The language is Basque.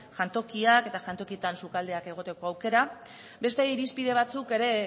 jantokiak eta jantokietan sukaldeak egoteko aukera beste irispide batzuk ere